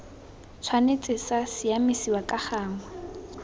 tshwanetse sa siamisiwa ka gangwe